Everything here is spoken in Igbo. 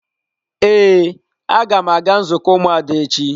Ee, aga m aga nzukọ ụmụada echi.